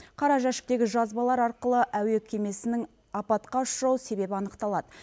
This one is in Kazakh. қара жәшіктегі жазбалар арқылы әуе кемесінің апатқа ұшырау себебі анықталады